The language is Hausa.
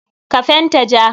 Ka fenta ja.